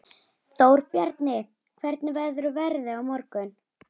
Þórbjarni, hvernig verður veðrið á morgun?